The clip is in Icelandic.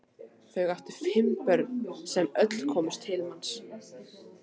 Þau áttu fimm börn sem öll komust til manns.